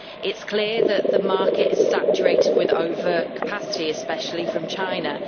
It is clear that the market is saturated with overcapacity, especially from China.